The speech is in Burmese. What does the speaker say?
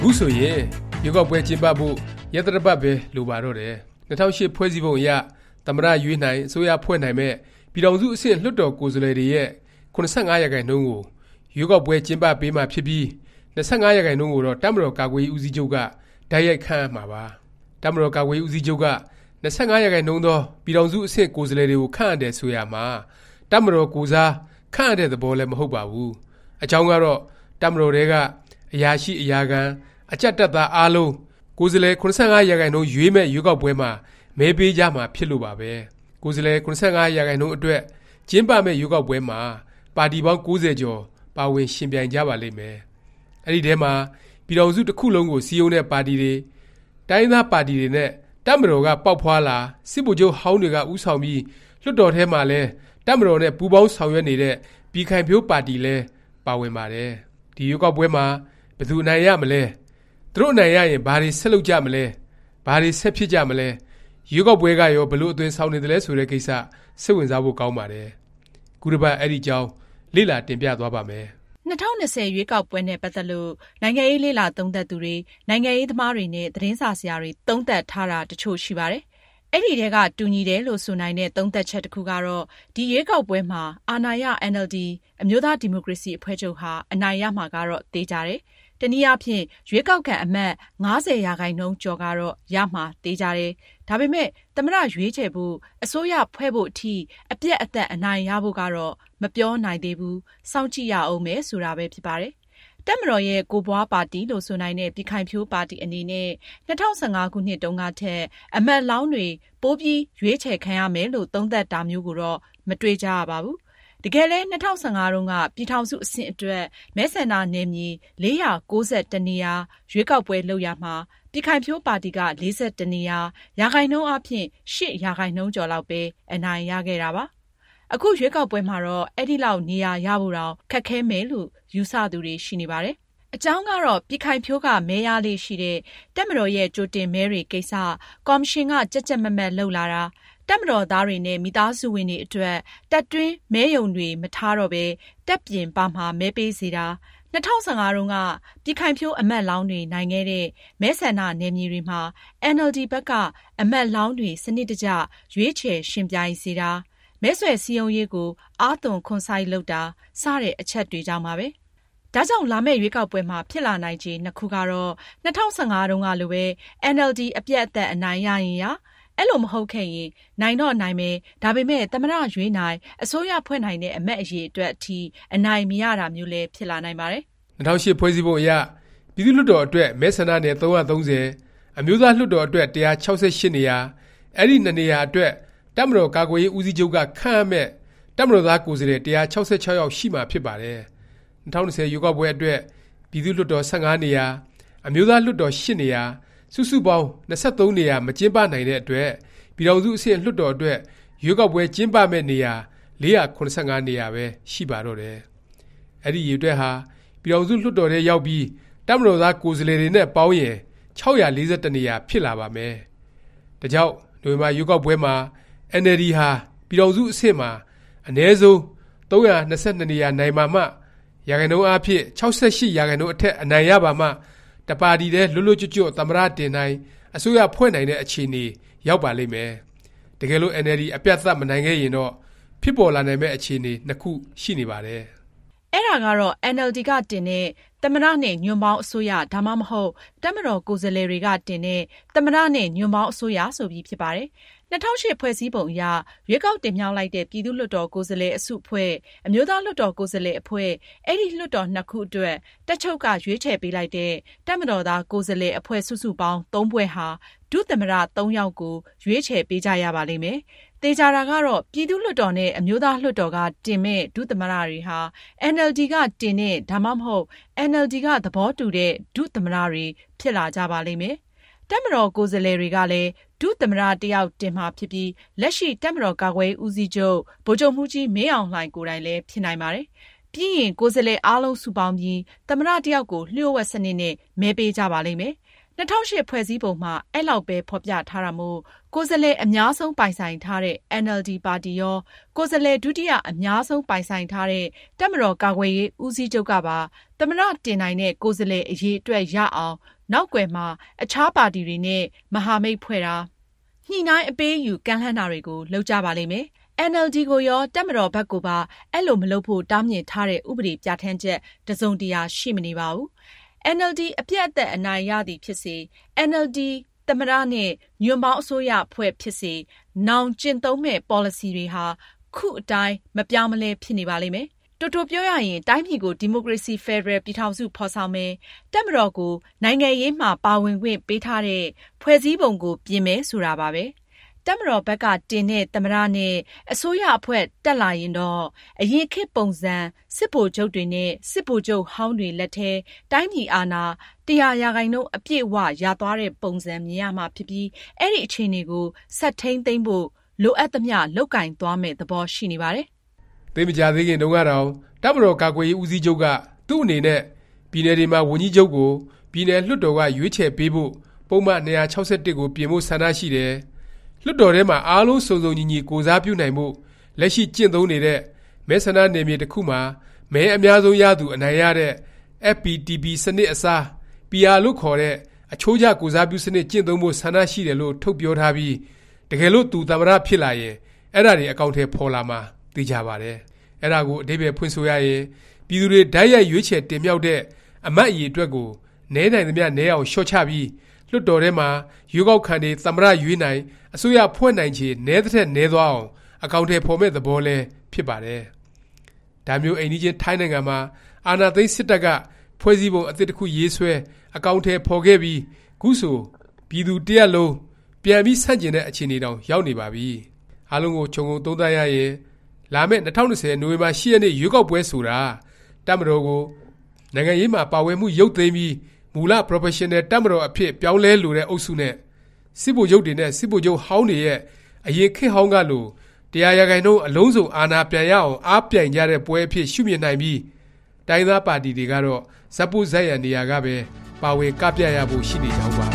ခုဆိုရင် ရွေးကောက်ပွဲ ကျင်းပဖို့ ရက်သတ္တပတ်ပဲ လိုပါတော့တယ်။ ၂၀၀၈ ဖွဲ့စည်းပုံအရ သမ္မတရွေးနိုင်၊ အစိုးရဖွဲ့နိုင်မယ့် ပြည်ထောင်စု အဆင့် လွှတ်တော် ကိုယ်စားလှယ်တွေရဲ့ ၇၅% ကို ရွေးကောက်ပွဲ ကျင်းပပေးမှာ ဖြစ်ပြီး ၂၅% ကိုတော့ တပ်မတော်ကာကွယ်ရေး ဦးစီးချုပ်က တိုက်ရိုက် ခန့်အပ်မှာပါ။ တပ်မတော်ကာကွယ်ရေး ဦးစီးချုပ်က ၂၅% သော ပြည်ထောင်စု အဆင့် ကိုယ်စားလှယ်တွေကို ခန့်အပ်တယ် ဆိုရာမှာ တပ်မတော်ကိုယ်စား ခန့်အပ်တဲ့ သဘောလည်း မဟုတ်ပါဘူး။ အကြောင်းကတော့ တပ်မတော်ထဲက အရာရှိ၊ အရာခံ၊ အကြပ် တပ်သား အားလုံး ကိုယ်စားလှယ် ၇၅% ရွေးမယ့် ရွေးကောက်ပွဲမှာ မဲပေးကြမှာ ဖြစ်လို့ပါပဲ။ ကိုယ်စားလှယ် ၇၅% အတွက် ကျင်းပမယ့် ရွေးကောက်ပွဲမှာ ပါတီပေါင်း ၉၀ ကျော် ပါဝင်ယှဉ်ပြိုင်ကြပါလိမ့်မယ်။ အဲဒီထဲမှာ ပြည်ထောင်စု တစ်ခုလုံးကို စည်းရုံးတဲ့ ပါတီတွေ၊ တိုင်းရင်းသား ပါတီတွေနဲ့ တပ်မတော်က ပေါက်ဖွားလာ၊ စစ်ဗိုလ်ချုပ်ဟောင်းတွေက ဦးဆောင်ပြီး လွှတ်တော်ထဲမှာလည်း တပ်မတော်နဲ့ ပူးပေါင်းဆောင်ရွက်နေတဲ့ ပြည်ခိုင်ဖြိုးပါတီလည်း ပါဝင်ပါတယ်။ ဒီ ရွေးကောက်ပွဲမှာ ဘယ်သူအနိုင်ရမလဲ၊ သူတို့ အနိုင်ရရင် ဘာတွေ ဆက်လုပ်ကြမလဲ၊ ဘာတွေ ဆက်ဖြစ်ကြမလဲ၊ ရွေးကောက်ပွဲကရော ဘယ်လို အသွင်ဆောင်နေသလဲ ဆိုတဲ့ ကိစ္စ စိတ်ဝင်စားဖို့ ကောင်းပါတယ်။ ခုတစ်ပတ် အဲဒီအကြောင်း လေ့လာတင်ပြသွားပါ့မယ်။ ၂၀၂၀ ရွေးကောက်ပွဲနဲ့ ပတ်သက်ပြီး နိုင်ငံရေး လေ့လာသုံးသပ်သူတွေ၊ နိုင်ငံရေးသမားတွေနဲ့ သတင်းစာဆရာတွေ သုံးသပ်ထားတာ တစ်ချို့ရှိပါတယ်။ အဲဒီထဲက တူညီတယ်လို့ ဆိုနိုင်တဲ့ သုံးသပ်ချက် တစ်ခုကတော့ ဒီ ရွေးကောက်ပွဲမှာ အာဏာရ အင်န်အယ်လ်ဒီ အမျိုးသားဒီမိုကရေစီ အဖွဲ့ချုပ်ဟာ အနိုင်ရမှာကတော့ သေခြာတယ်၊ တစ်နည်းအားဖြင့် ရွေးကောက်ခံ အမတ် ၅၀% ကျော်ကတော့ ရမှာ သေခြာတယ်။ ဒါပေမယ့် သမ္မတ ရွေးချယ်ဖို့ အစိုးရဖွဲ့ဖို့ အထိ အပြတ်အသတ် အနိုင်ရဖို့ကတော့ မပြောနိုင်သေးဘူး၊ စောင့်ကြည့်ရဦးမယ် ဆိုတာပဲ ဖြစ်ပါတယ်။ တပ်မတော်ရဲ့ ကိုယ်ပွားပါတီ လို့ ဆိုနိုင်တဲ့ ပြည်ခိုင်ဖြိုးပါတီ အနေနဲ့ ၂၀၁၅ ခုနှစ်တုန်းကထက် အမတ်လောင်းတွေ ပိုပြီး ရွေးချယ်ခံရမယ်လို့ သုံးသပ်တာမျိုးကိုတော့ မတွေ့ကြရပါဘူး။ တကယ်လည်း ၂၀၁၅ တုန်းက ပြည်ထောင်စုအဆင့် အတွက် မဲဆန္ဒနယ်မြေ ၄၉၁ နေရာ ရွေးကောက်ပွဲ လုပ်ရာမှာ ပြည်ခိုင်ဖြိုးပါတီက ၄၁ နေရာ၊ ရာခိုင်နှုန်းအားဖြင့် ၈% ကျော်လောက်ပဲ အနိုင်ရခဲ့တာပါ။ အခုရွေးကောက်ပွဲမှာတော့ အဲလောက် နေရာရဖို့တောင် ခက်ခဲမယ်လို့ ယူဆသူတွေ ရှိနေပါတယ်။ အကြောင်းကတော့ ပြည်ခိုင်ဖြိုးက မဲရလေ့ရှိတဲ့ တပ်မတော်ရဲ့ ကြိုတင်မဲတွေကိစ္စ ကော်မရှင်က ကြပ်ကြပ်မတ်မတ် လုပ်လာတာ၊ တပ်မတော်သားတွေနဲ့ မိသားစုဝင်တွေ အတွက် တပ်တွင်းမဲရုံတွေ မထားတော့ပဲ တပ်ပြင်ပမှာ မဲပေးစေတာ၊ ၂၀၁၅ တုန်းက ပြည်ခိုင်ဖြိုး အမတ်လောင်းတွေ နိုင်ခဲ့တဲ့ မဲဆန္ဒနယ်မြေတွေမှာ အင်န်အယ်လ်ဒီ ဘက်က အမတ်လောင်းတွေ စနစ်တကျ ရွေးချယ် ယှဉ်ပြိုင်စေတာ၊ မဲဆွယ်စည်းရုံးရေးကို အားသွန်ခွန်စိုက် လုပ်တာ၊ စတဲ့ အချက်တွေကြောင့်ပါပဲ။ ဒါကြောင့် လာမယ့် ရွေးကောက်ပွဲမှာ ဖြစ်လာနိုင်ချေ နှစ်ခုကတော့ ၂၀၁၅ တုန်းကလိုပဲ အင်န်အယ်လ်ဒီ အပြတ်အသတ် အနိုင်ရရင်ရ၊ အဲလို မဟုတ်ခဲ့ရင် နိုင်တော့နိုင်မယ်၊ ဒါပေမယ့် သမ္မတ ရွေးနိုင်၊ အစိုးရဖွဲ့နိုင်တဲ့ အမတ်အရေအတွက် အထိ အနိုင်မရတာမျိုးလည်း ဖြစ်လာနိုင်ပါတယ်။ ၂၀၀၈ ဖွဲ့စည်းပုံအရ ပြည်သူ့ လွှတ်တော်အတွက် မဲဆန္ဒနယ် ၃၃၀၊ အမျိုးသားလွှတ်တော် အတွက် ၁၆၈ နေရာ၊ အဲဒီ နှစ်နေရာ အတွက် တပ်မတော်ကာကွယ်ရေး ဦးစီးချုပ်က ခန့်အပ်မယ့် တပ်မတော်သား ကိုယ်စားလှယ် ၁၆၆ ယောက် ရှိမှာ ဖြစ်ပါတယ်။ ၂၀၂၀ ရွေးကောက်ပွဲအတွက် ပြည်သူ့လွှတ်တော် ၁၅ နေရာ၊ အမျိုးသားလွှတ်တော် အတွက် ၈ နေရာ စုစုပေါင်း ၂၃ နေရာ မကျင်းပနိုင်တဲ့အတွက် ပြည်ထောင်စု အဆင့်လွှတ်တော် အတွက် ရွေးကောက်ပွဲ ကျင်းပမယ့် နေရာ ၄၇၅ နေရာပဲ ရှိပါတော့တယ်။ အဲဒီ အရေအတွက်ဟာ ပြည်ထောင်စု လွှတ်တော်ထဲရောက်ပြီး တပ်မတော်သား ကိုယ်စားလှယ်တွေနဲ့ ပေါင်းရင် ၆၄၁ နေရာ ဖြစ်လာပါမယ်။ ဒါကြောင့် နိုဝင်ဘာ ရွေးကောက်ပွဲမှာ အင်န်အယ်လ်ဒီဟာ ပြည်ထောင်စု အဆင့်မှာ အနည်းဆုံး ၃၂၂ နေရာ နိုင်ပါမှ ရာခိုင်နှုန်းအားဖြင့် ၆၈% အထက် အနိုင်ရပါမှ တစ်ပါတီတည်း လွတ်လွတ်ကျွတ်ကျွတ် သမ္မတ တင်နိုင်၊ အစိုးရဖွဲ့နိုင်တဲ့ အခြေအနေ ရောက်ပါလိမ့်မယ်။ တကယ်လို့ အင်န်အယ်လ်ဒီ အပြတ်အသတ် မနိုင်ခဲ့ရင်တော့ ဖြစ်ပေါ်လာနိုင်မယ့် အခြေအနေ ခုရှိနေပါတယ်။ အဲဒါကတော့ အင်န်အယ်လ်ဒီက တင်တဲ့ သမ္မတ နဲ့ ညွန့်ပေါင်း အစိုးရ၊ ဒါမှမဟုတ် တပ်မတော် ကိုယ်စားလှယ်တွေက တင်တဲ့ သမ္မတ နဲ့ ညွန့်ပေါင်း အစိုးရ ဆိုပြီး ဖြစ်ပါတယ်။ ၂၀၀၈ ဖွဲ့စည်းပုံအရ ရွေးကောက်တင်မြှောက်လိုက်တဲ့ ပြည်သူ့လွှတ်တော် ကိုယ်စားလှယ် အစုအဖွဲ့၊ အမျိုးသားလွှတ်တော် ကိုယ်စားလှယ် အဖွဲ့၊ အဲဒီ လွှတ်တော် နှစ်ခုအတွက် တပ်ချုပ်က ရွေးချယ်ပေးလိုက်တဲ့ တပ်မတော်သား ကိုယ်စားလှယ် အဖွဲ့ စုစုပေါင်း ၃ ဖွဲ့ဟာ ဒုသမ္မတ ယောက်ကို ရွေးချယ်ပေးကြရပါလိမ့်မယ်။ သေခြာတာကတော့ ပြည်သူ့လွှတ်တော်နဲ့ အမျိုးသားလွှတ်တော်က တင်မယ့် ဒုသမ္မတတွေဟာ အင်န်အယ်လ်ဒီက တင်တဲ့၊ဒါမှမဟုတ် အင်န်အယ်လ်ဒီ က သဘောတူတဲ့ ဒုသမ္မတ တွေ ဖြစ်လာကြပါလိမ့်မယ်။ တပ်မတော် ကိုယ်စားလှယ်တွေကလည်း ဒုသမ္မတ တစ်ယောက် တင်မှာဖြစ်ပြီး လက်ရှိ တပ်မတော်ကာကွယ်ရေး ဦးစီးချုပ် ဗိုလ်ချုပ်မှူးကြီး မင်းအောင်လှိုင် ကိုယ်တိုင်လည်း ဖြစ်နိုင်ပါတယ်။ ပြီးရင် ကိုယ်စားလှယ် အားလုံး စုပေါင်းပြီး သမ္မတ တစ်ယောက်ကို လျှို့ဝှက်စနစ်နဲ့ မဲပေးကြပါလိမ့်မယ်။ ၂၀၀၈ ဖွဲ့စည်းပုံမှာ အဲလောက်ပဲ ဖော်ပြထားတာမို့ ကိုယ်စားလှယ် အများဆုံး ပိုင်ဆိုင်ထားတဲ့ အင်န်အယ်လ်ဒီ ပါတီရော၊ ကိုယ်စားလှယ် ဒုတိယ အများဆုံး ပိုင်ဆိုင်ထားတဲ့ တပ်မတော် ကာကွယ်ရေး ဦးစီးချုပ်ကပါ သမ္မတ တင်နိုင်တဲ့ ကိုယ်စားလှယ် အရေအတွက် ရအောင် နောက်ကွယ်မှာ အခြား ပါတီတွေနဲ့ မဟာမိတ်ဖွဲ့တာ၊ ညှိနှိုင်း၊ အပေးအယူလုပ် ကမ်းလှမ်းတာတွေကို လုပ်ကြပါလိမ့်မယ်။ အင်န်အယ်လ်ဒီ ကိုရော၊ တပ်မတော် ဘက်ကိုပါ အဲလို မလုပ်ဖို့ တားမြစ်ထားတဲ့ ဥပဒေ ပြဌာန်းချက် တစ်စုံတစ်ရာ ရှိမနေပါဘူး။ အင်န်အယ်လ်ဒီ အပြတ်အသတ် အနိုင်ရသည် ဖြစ်စေ၊ အင်န်အယ်လ်ဒီ သမ္မတ နဲ့ ညွန့်ပေါင်း အစိုးရအဖွဲ့ ဖြစ်စေ၊ နောင်ကျင့်သုံးမယ့် ပေါ်လစီတွေဟာ ခုအတိုင်း မပြောင်းမလဲ ဖြစ်နေပါလိမ့်မယ်။ တိုတိုပြောရရင် တိုင်းပြည်ကို ဒီမိုကရေစီ ဖက်ဒရယ် ပြည်ထောင်စု ဖော်ဆောင်မယ်၊ တပ်မတော်ကို နိုင်ငံရေးမှာ ပါဝင်ခွင့်ပေးထားတဲ့ ဖွဲ့စည်းပုံကို ပြင်မယ် ဆိုတာပါပဲ။ တပ်မတော်ဘက်က တင်တဲ့ သမ္မတ နဲ့ အစိုးရအဖွဲ့ တက်လာရင်တော့ အရင်ခေတ်ပုံစံ စစ်ဗိုလ်ချုပ်တွေနဲ့ စစ်ဗိုလ်ချုပ်ဟောင်းတွေ လက်ထဲ တိုင်းပြည် အာဏာ ၁၀၀% အပြည့်အ၀ ရသွားတဲ့ ပုံစံ မြင်ရမှာ ဖြစ်ပြီး အဲဒီ အခြေအနေကို ဆက်ထိမ်းသိမ်းဖို့ လိုအပ်သမျှ လုပ်ကိုင်သွားမယ့် သဘော ရှိနေပါတယ်။ သိပ်မကြာသေးခင်တုန်းကတောင် တပ်မတော်ကာကွယ်ရေး ဦးစီးချုပ်က သူ့အနေနဲ့ ပြည်နယ်တွေမှာ ဝန်ကြီးချုပ်ကို ပြည်နယ် လွှတ်တော်က ရွေးချယ်ပေးဖို့ ပုဒ်မ ၂၆၁ ကို ပြင်ဖို့ဆန္ဒရှိတယ်၊ လွှတ်တော်ထဲမှာ အားလုံး စုံစုံညီညီ ကိုယ်စားပြုနိုင်ဖို့ လက်ရှိ ကျင့်သုံးနေတဲ့ မဲဆန္ဒနယ်မြေ တစ်ခုမှာ မဲအများဆုံးရသူ အနိုင်ရတဲ့ FPTP စနစ်အစား PR လို့ခေါ်တဲ့ အချိုးကျ ကိုယ်စားပြုစနစ် ကျင့်သုံးဖို့ ဆန္ဒရှိတယ်လို့ ထုတ်ပြောထားပြီး တကယ်လို့ သူ သမ္မတ ဖြစ်လာရင် အဲဒါတွေ အကောင်အထည် ဖော်လာမှာ သေခြာပါတယ်။ အဲဒါကို အဓိပ္ပါယ်ဖွင့်ဆိုရရင် ပြည်သူတွေ တိုက်ရိုက် ရွေးချယ်တင်မြှောက်တဲ့ အမတ် အရေအတွက်ကို နည်းနိုင်သမျှ နည်းအောင် လျော့ချပြီး လွှတ်တော်ထဲမှာ ရွေးကောက်ခံတွေ သမ္မတ ရွေးနိုင်၊ အစိုးရဖွဲ့နိုင်ချေ နည်းသထက် နည်းသွားအောင် အကောင်အထည် ဖော်မယ့် သဘောလည်း ဖြစ်ပါတယ်။ ဒါမျိုး အိမ်နီးချင်း ထိုင်းနိုင်ငံမှာ အာဏာသိမ်း စစ်တပ်က ဖွဲ့စည်းပုံ အသစ်တစ်ခုရေးဆွဲ၊ အကောင်အထည် ဖော်ခဲ့ပြီး ခုဆို ပြည်သူတစ်ရပ်လုံး ဆန့်ကျင်တဲ့ အခြေအနေတောင် ရောက်နေပါပြီ။ အားလုံးကို ခြုံငုံသုံးသပ်ရရင် လာမယ့် ၂၀၂၀ နိုဝင်ဘာ ၈ ရက်နေ့ ရွေးကောက်ပွဲဆိုတာ တပ်မတော်ကို နိုင်ငံရေးမှာပါဝင်မှု ရုပ်သိမ်းပြီး မူလ ပရော်ဖက်ရှင်နယ် တပ်မတော် အဖြစ် ပြောင်းလဲလိုတဲ့ အုပ်စုနဲ့ စစ်ဗိုလ်ချုပ်တွေနဲ့ စစ်ဗိုလ်ချုပ်ဟောင်းတွေရဲ့ အရင်ခေတ်ဟောင်းကလို ၁၀၀% အလုံးစုံ အာဏာပြန်ရအောင် အားပြိုင်ကြမယ့်ပွဲအဖြစ် ရှုမြင်နိုင်ပြီး တိုင်းရင်းသား ပါတီတွေကတော့ ဇာတ်ပို့ဇာတ်ရံ နေရာကပဲ ပါဝင် ကပြရဖို့ ရှိနေကြောင်းပါ